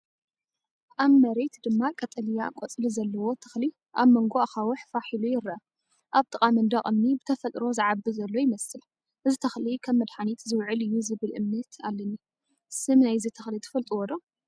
ኣብ መሬት ድማ ቀጠልያ ቆጽሊ ዘለዎ ተኽሊ ኣብ መንጎ ኣኻውሕ ፋሕ ኢሉ ይርአ። ኣብ ጥቓ መንደቕ እምኒ ብተፈጥሮ ዝዓቢ ዘሎ ይመስል። እዚ ተኽሊ ከም መድሃኒት ዝውዕል እዩ ዝብል እምነት ኣለኒ፤ ስም ናይዚ ተኽሊ ትፈልጡዎ ዶ?